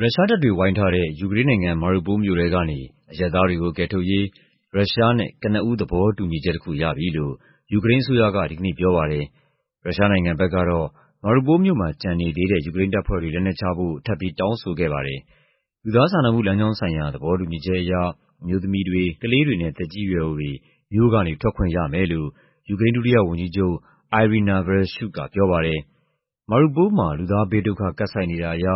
ရုရှားတပ်တွေဝိုင်းထားတဲ့ ယူကရိန်းနိုင်ငံ၊ Mariupol မြို့ထဲကနေ အရပ်သားတွေကို ကယ်ထုတ်ရေး ရုရှားနဲ့ကနဦးသဘောတူညီချက်တခုရပြီလို့ ယူကရိန်းအစိုးရက ဒီကနေ့ပြောပါတယ်။ ရုရှားနိုင်ငံဘက်ကတော့ Mariupol မြို့မှာ ကျန်နေသေးတဲ့ ယူကရိန်းတပ်ဖွဲ့တွေ လက်နက်ချဖို့ ထပ်ပြီး တောင်းဆိုခဲ့ပါတယ်။ လူသားစာနာမှုလမ်းကြောင်းဆိုင်ရာ သဘောတူညီချက်အရ အမျိုးသမီးတွေ၊ ကလေးတွေနဲ့ သက်ကြီးရွယ်အိုတွေ မြို့ကနေ ထွက်ခွင့်ရမယ်လို့ ယူကရိန်း ဒုတိယ ဝန်ကြီးချုပ် Iryna Vereshchuk ကပြောပါတယ်။ "Mariupol မှာ လူသားဘေးဒုက္ခ ကပ်ဆိုက်နေတာအရ